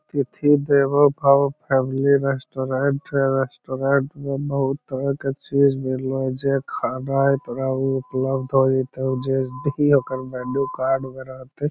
अतिथि देवो भव फैमली रेस्टोरेंट है रेस्टोरेंट में बहुत तरह के चीज़ मिल रहल जे खाना इतना उपलब्ध हई जे देही ओकर मेन्यू कार्ड बनाते --